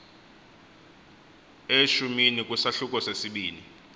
eshumini kwisahluko sesibini